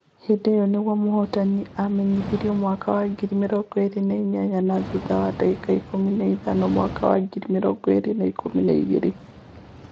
Hĩndĩ ĩyo nĩguo mũhotani aamenyanithirio mwaka wa ngiri mirongo ĩĩrĩ na inyanya, na thutha wa ndagĩka ĩkumi na ithano mwaka wa ngiri mirongo ĩĩrĩ na ikũmi na ĩgĩri.